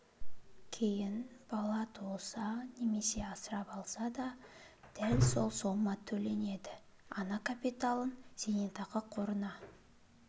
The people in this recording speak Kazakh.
кейін бала туылса немесе асырап алса да дәл осы сома төленеді ана капиталын зейнетақы қорына